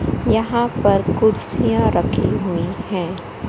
यहां पर कुर्सीयां रखी हुई हैं।